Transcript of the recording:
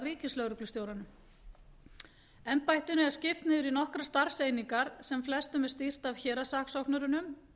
ríkislögreglustjóranum embættinu er skipt niður í nokkrar starfseiningar sem flestum er stýrt